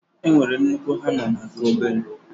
e nwere nnukwu hama na nke obere.